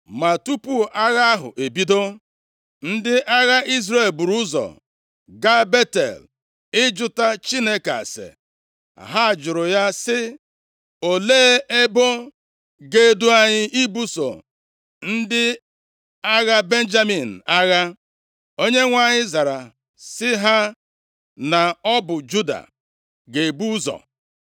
Ma tupu agha ahụ ebido, ndị agha Izrel buru ụzọ gaa Betel ịjụta Chineke ase. Ha jụrụ ya sị, “Olee ebo ga-edu anyị ibuso ndị agha Benjamin agha?” Onyenwe anyị zara sị ha na ọ bụ Juda ga-ebu ụzọ.